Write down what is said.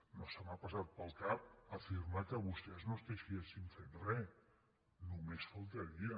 no m’ha passat pel cap afirmar que vostès no estiguessin fent re només faltaria